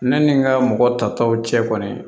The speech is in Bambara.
Ne ni n ka mɔgɔ ta taw cɛ kɔni